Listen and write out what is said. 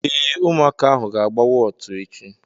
Ee, ụmụaka ahụ ga-agba wọtu echi.